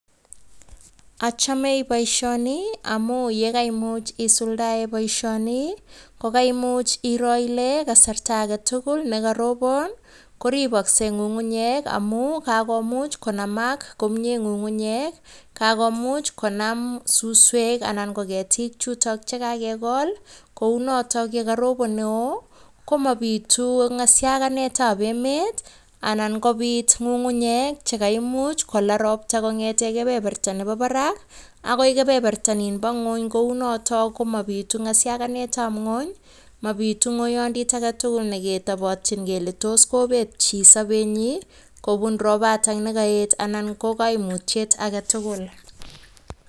Achame boishoni amun nye yekaimuch isuldae boishoni, kokoaimuch iro ile kasarta aetugul nekaropon koriboskei ng'ungunyek amun kakomuch konamak komie ng'ungunyek kakomuch konam suswek ana ko ketik chutok chekakekol, kou notok yekaropon neo komabitu ng'ashakanetab emet anan kobit ng'ung'unyek chekaimuch kola ropta kong'ete kebeberta nebo barak ako kebeberta ninbo ng'wony. kou notok komabitu ng'ashakanetab ng'wony mabitu ng'oiyondit agetugul neketobotchin kele tos kobet chi sobenyoi kobun ropatak anan ko kaimuut agetugul.